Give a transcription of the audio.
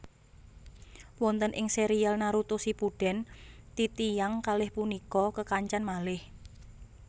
Wonten ing serial Naruto Shippuden titiyang kalih punika kekancan malih